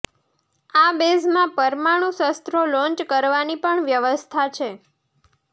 આ બેઝમાં પરમાણુ શસ્ત્રો લોંચ કરવાની પણ વ્યવસ્થા છે